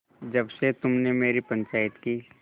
जब से तुमने मेरी पंचायत की